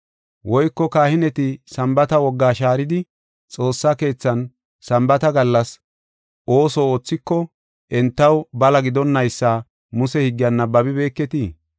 Woyko kahineti Sambaata wogaa shaaridi xoossa keethan Sambaata gallas ooso oothiko entaw bala gidonnaysa Muse higgiyan nabbabibeketii?